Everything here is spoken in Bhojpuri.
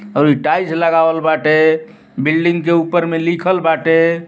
औरी टाइल्स लगावल बाटे। बिल्डिंग के ऊपर में लिखल बाटे।